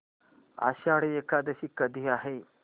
आषाढी एकादशी कधी आहे